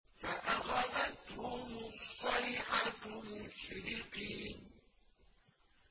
فَأَخَذَتْهُمُ الصَّيْحَةُ مُشْرِقِينَ